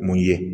Mun ye